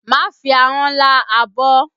Má fi ahọ́n lá abọ́!